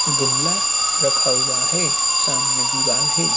गमला रखा हुआ है सामने दीवाल है।